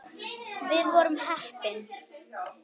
Við vorum heppni.